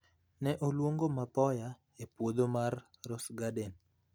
ne oluongo mapoya e podho mar Rose Garden.